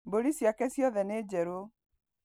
Mbũri ciake ciothe nĩ njerũ